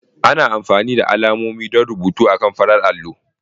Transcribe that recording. Ana amfani da alamomi don rubutu akan farar allo.